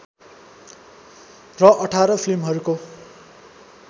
र १८ फिल्महरूको